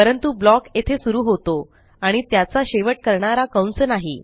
परंतु ब्लॉक येथे सुरू होतो आणि त्याचा शेवट करणारा कंस नाही